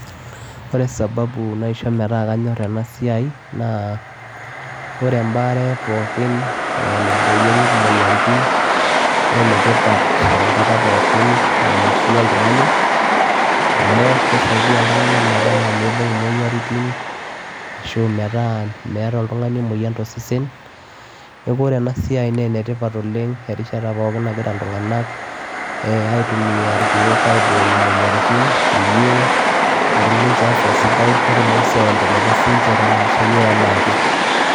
Ore sababu naisho metaa kanyorr ena siai naa ore embaare pookin ee naiboorieki imoyiaaritin naa enetipat enkata pookin enaa enkishui oltung'ani amu kisaidia iltung'anak metaa miibung' imoyiaritin ashu metaa meeta oltung'ani emoyian tosesen, neeku ore ena siai naa enetipat oleng' erishata pookin nagira iltung'anak ee aitumia irkeek pee aiboorie imoyiaritin peyie etum ninche afya sidai netumoki sii aiendeleza siinche te maisha enye enaake.